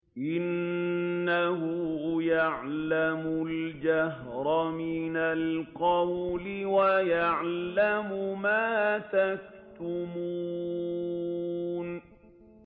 إِنَّهُ يَعْلَمُ الْجَهْرَ مِنَ الْقَوْلِ وَيَعْلَمُ مَا تَكْتُمُونَ